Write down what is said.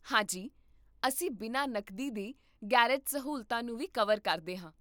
ਹਾਂ ਜੀ, ਅਸੀਂ ਬਿਨਾਂ ਨਕਦੀ ਦੇ ਗ਼ੈਰੇਜ ਸਹੂਲਤਾਂ ਨੂੰ ਵੀ ਕਵਰ ਕਰਦੇ ਹਾਂ